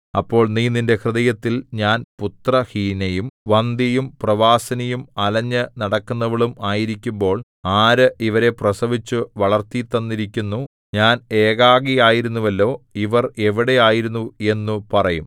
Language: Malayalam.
അപ്പോൾ നീ നിന്റെ ഹൃദയത്തിൽ ഞാൻ പുത്രഹീനയും വന്ധ്യയും പ്രവാസിനിയും അലഞ്ഞു നടക്കുന്നവളും ആയിരിക്കുമ്പോൾ ആര് ഇവരെ പ്രസവിച്ചു വളർത്തിത്തന്നിരിക്കുന്നു ഞാൻ ഏകാകിയായിരുന്നുവല്ലോ ഇവർ എവിടെ ആയിരുന്നു എന്നു പറയും